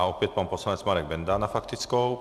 A opět pan poslanec Marek Benda s faktickou.